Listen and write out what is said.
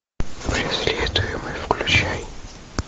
преследуемый включай